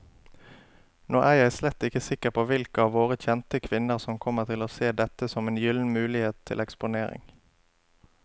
Nå er jeg slett ikke sikker på hvilke av våre kjente kvinner som kommer til å se dette som en gyllen mulighet til eksponering.